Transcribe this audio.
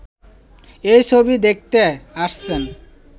এই ছবি দেখতে আসছেন